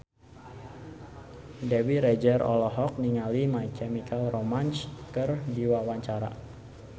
Dewi Rezer olohok ningali My Chemical Romance keur diwawancara